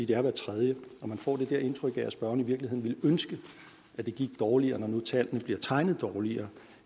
det er hver tredje og man får indtryk af at spørgeren i virkeligheden ville ønske at det gik dårligere når nu tallene bliver tegnet dårligere